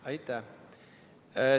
Aitäh!